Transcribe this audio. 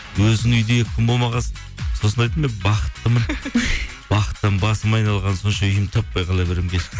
өзің үйде екі күн болмаған соң сосын айттым иә бақыттымын бақыттан басым айналғаны сонша үйімді таппай қала беремін